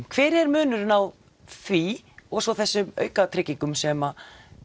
hver er munurinn á því og svo þessum auka tryggingum sem